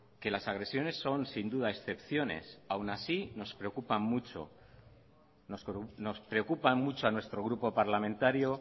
que las agresiones son sin duda excepciones aún así nos preocupa mucho a nuestro grupo parlamentario